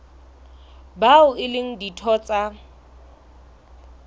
bao e leng ditho tsa